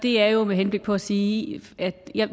det er jo med henblik på at sige at